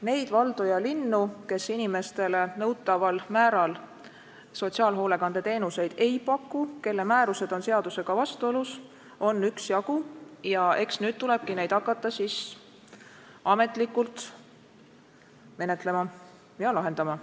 Neid valdu ja linnu, kes inimestele nõutaval määral sotsiaalhoolekande teenuseid ei paku, kelle määrused on seadusega vastuolus, on üksjagu ja eks nüüd tulebki hakata neid juhtumeid ametlikult menetlema ja lahendama.